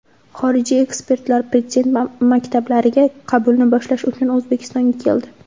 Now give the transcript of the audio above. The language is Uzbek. Xorijiy ekspertlar prezident maktablariga qabulni boshlash uchun O‘zbekistonga keldi.